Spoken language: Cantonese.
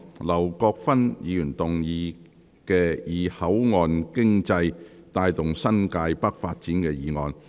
劉國勳議員動議的"以口岸經濟帶動新界北發展"議案。